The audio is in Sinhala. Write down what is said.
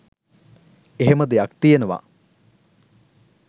එහෙම දෙයක් තියෙනවා